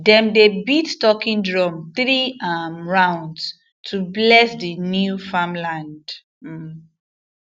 them dey beat talking drum three um rounds to bless the new farmland um